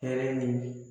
Hɛrɛ ni